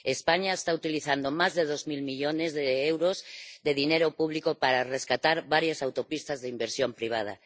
España está utilizando más de dos mil millones de euros de dinero público para rescatar varias autopistas de inversión privada.